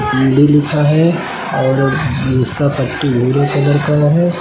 लिखा है और इसका पट्टी भूरे कलर का है।